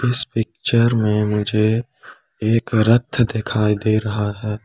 इस पिक्चर में मुझे एक रथ दिखाई दे रहा है।